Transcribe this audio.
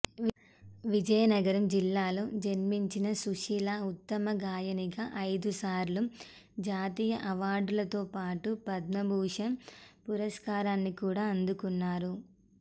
విజయనగరం జిల్లాలో జన్మించిన సుశీల ఉత్తమ గాయనిగా అయిదుసార్లు జాతీయ అవార్డులతో పాటు పద్మభూషణ్ పురస్కారాన్ని కూడా అందుకున్నారు